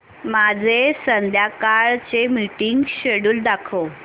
माझे संध्याकाळ चे मीटिंग श्येड्यूल दाखव